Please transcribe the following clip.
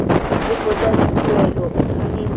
dikopo tsa dituelo o tshwanetse